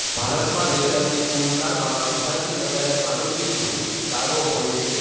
ભારતમાં વેચાતી કુલ કારમાં અડધાથી વધારે મારુતિ સુઝુકી કારો હોય છે